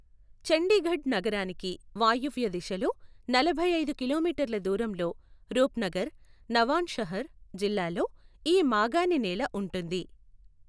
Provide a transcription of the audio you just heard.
చండీగఢ్ నగరానికి వాయువ్య దిశలో నలభై ఐదు కిలోమీటర్ల దూరంలో రూప్నగర్, నవాన్షహర్ జిల్లాల్లో ఈ మాగాణినేల ఉంటుంది.